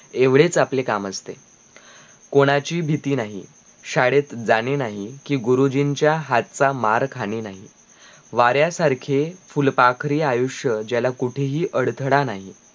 एवढेच आपले काम असते कोणाची भीती नाही शाळेत जाणे नाही कि गुरुजींच्या हातचा मार खाणे नाहि वार्यासारखे फुलपाखरी आयुष्य ज्याला कुठेही अळथळ नाही